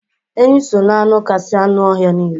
Enyi so n'anụ kasị anụ ọhịa niile.